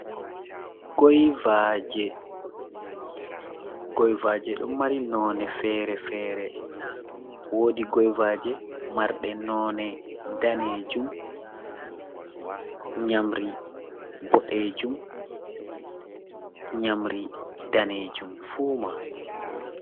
Goivaji: Goivaji ɗo mari none fere-fere wodi goivaji marɗe none danejum, nyamri boɗejum, nyamri danejum fu mai.